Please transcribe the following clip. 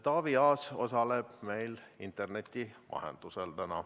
Taavi Aas osaleb meil täna interneti vahendusel.